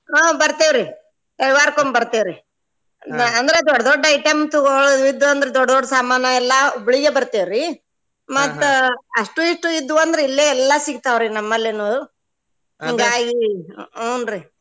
ಹ್ಮ್ ಬರ್ತೆವ್ರಿ ರವಿವಾರಕೊಮ್ಮೆ ಬರ್ತೆವ್ರಿ ಅಂದ್ರ ದೊಡ್ಡ ದೊಡ್ಡ item ತುಗೊಳೋದ್ ಇದ್ದು ಅಂದ್ರ ದೊಡ್ದ್ ದೊಡ್ದ್ ಸಾಮಾನ ಎಲ್ಲಾ Hubli ಗೆ ಬರ್ತೆವ್ರಿ ಮತ್ತ ಅಷ್ಟು ಇಷ್ಟು ಇದ್ದು ಅಂದ್ರ ಇಲ್ಲೆ ಎಲ್ಲಾ ಸಿಗತಾವ್ರಿ ನಮ್ಮಲ್ಲಿನು ಹಿಂಗಾಗಿ ಹೂನ್ರಿ .